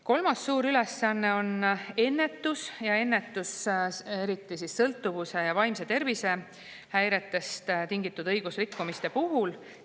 Kolmas suur ülesanne on ennetus, eriti sõltuvuse ja vaimse tervise häiretest tingitud õigusrikkumiste puhul.